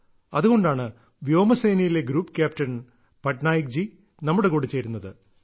അതുകൊണ്ടാണ് വ്യോമസേനയിലെ group captain Patnaik ji നമ്മുടെ കൂടെ കൂടെ ചേരുന്നത്